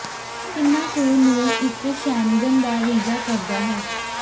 ਕਿੰਨਾ ਕੁ ਨੂੰ ਇੱਕ ਸ਼ੈਨਗਨ ਦਾ ਵੀਜ਼ਾ ਕਰਦਾ ਹੈ